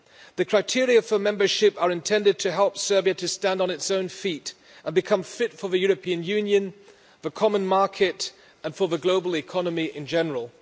The criteria for membership are intended to help Serbia to stand on its own feet and become fit for the European Union, the common market, and for the global economy in general.